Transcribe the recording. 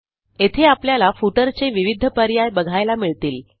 येथे आपल्याला Footerचे विविध पर्याय बघायला मिळतील